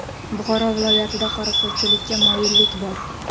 Buxoro viloyatida qorako‘lchilikka moyillik bor.